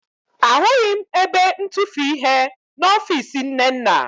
Ahụghị m ebe ntufuihe n'ọfiisi Nnenna